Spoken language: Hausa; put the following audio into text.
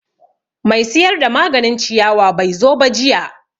Mai siyar da maganin ciyawa bai zo ba jiya